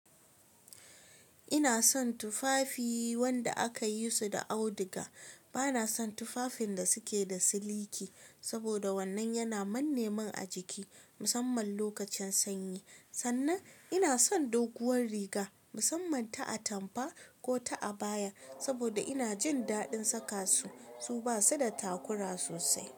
Ina son tufafi wanda aka yi su da auduga. Bana son tufafin da suke da siliki saboda wannan yana manne min a jiki musamman lokacin sanyi. Sannan ina son doguwar riga musamman ta atampa ko ta abaya saboda ina jin daɗin saka su, su basu da takura sosai.